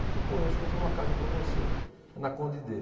Falou, pô, acho que eu tenho uma casa para você, na Conde d'Eu.